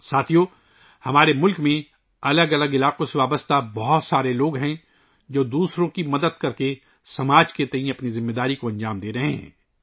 ساتھیو ، ہمارے ملک میں مختلف شعبوں سے تعلق رکھنے والے بہت سے لوگ ہیں، جو دوسروں کی مدد کر کے معاشرے کے تئیں اپنی ذمہ داری پوری کر رہے ہیں